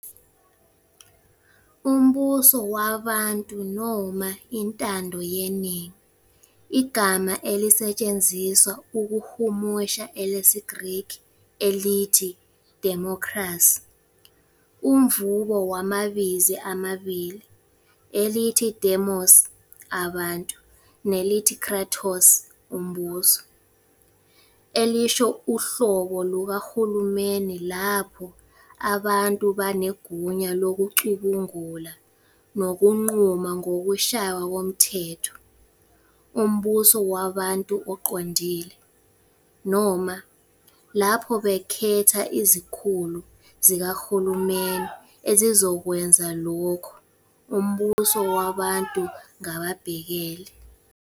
Umbuso wabantu noma intando yeningi, igama elisetshenziswa ukuhumusha elesiGriki elithi "Democracy, umvubo wamabizi amabili, elithi dēmos 'abantu' nelithi kratos 'umbuso', elisho uhlobo lukahulumeni lapho abantu banegunya lokucubungula nokunquma ngokushaywa komthetho, "umbuso wabantu oqondile", noma lapho bekhetha izikhulu zikahulumeni ezizokwenza lokho, "umbuso wabantu ngababhekeli".